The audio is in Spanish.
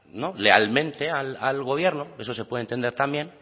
no al gobierno eso se puede entender también